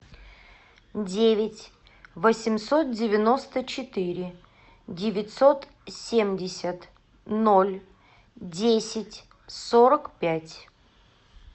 девять восемьсот девяносто четыре девятьсот семьдесят ноль десять сорок пять